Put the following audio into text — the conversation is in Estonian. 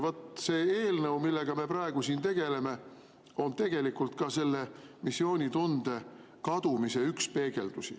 See eelnõu, millega me praegu tegeleme, on tegelikult ka üks missioonitunde kadumise peegeldusi.